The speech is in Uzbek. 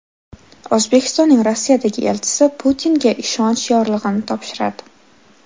O‘zbekistonning Rossiyadagi elchisi Putinga ishonch yorlig‘ini topshiradi.